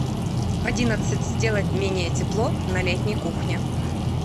в одиннадцать сделать менее тепло на летней кухне